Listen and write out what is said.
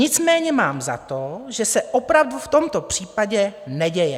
Nicméně mám za to, že se opravdu v tomto případě neděje.